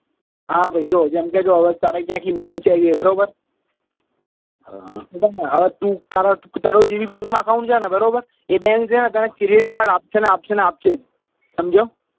હા ભાઈ જો જેમ કે જો તારે ક્યાંથી loan છે બરાબર હવે તું તારુ તારો જે બી bank માં account છે ને બરોબર એ bank છે ને તને credit card આપશે ને આપશે આપશે જ સમજ્યો